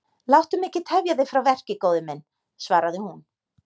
Láttu mig ekki tefja þig frá verki góði minn, svaraði hún.